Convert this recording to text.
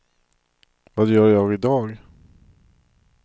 vad gör jag idag